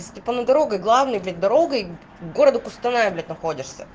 степана дорогой главный блять дорогой города кустаная блять находишься